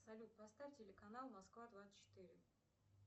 салют поставь телеканал москва двадцать четыре